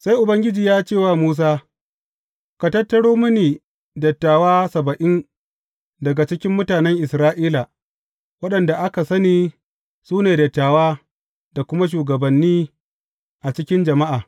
Sai Ubangiji ya ce wa Musa, Ka tattaro mini dattawa saba’in daga cikin mutanen Isra’ila, waɗanda aka sani su ne dattawa da kuma shugabanni a cikin jama’a.